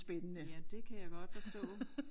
Ja det kan jeg godt forstå